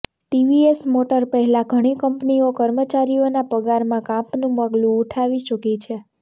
TVS motor પહેલા ઘણી કંપનીઓ કર્મચારીઓના પગારમાં કાપનું પગલું ઉઠાવી ચૂકી છે